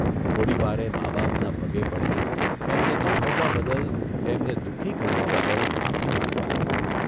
થોડીવારે મા બાપના પગે પડી એમને દુભવવા બદલ એમને દુખી કરવા બદલ માફી માંગવા લાગ્યો.